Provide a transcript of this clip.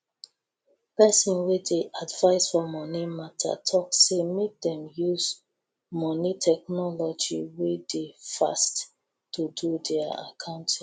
pesin wey dey advise for moni mata talk say make dem use moni technology wey dey fast do dia accounting